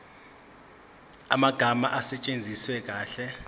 amagama asetshenziswe kahle